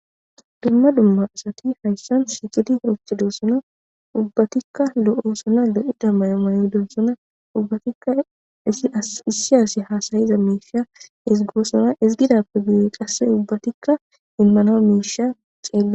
dumma dumma asati hayssan shikidi rochchedossona ubbatikka lo7osona lo7i da mayo mayo donsona ubbatikka issiyaasi haasayiza meisha isgoosona isgidappe giye qasse ubbatikka inmanaa miisha xeella